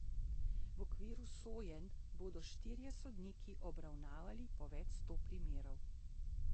V okviru sojenj bodo štirje sodniki obravnavali po več sto primerov.